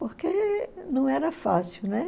Porque não era fácil, né?